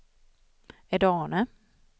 Edane